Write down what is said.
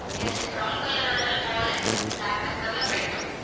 yes brown color well~ wallet black color ல print